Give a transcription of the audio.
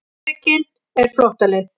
Geðveikin er flóttaleið.